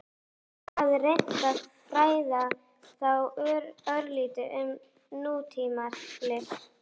Sú sem hafði reynt að fræða þá örlítið um nútímalist?